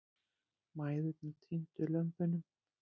Mæðurnar týndu lömbunum.